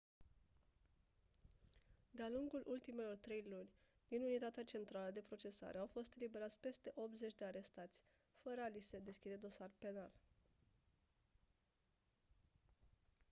de-a lungul ultimelor trei luni din unitatea centrală de procesare au fost eliberați peste 80 de arestați fără a li se deschide dosar penal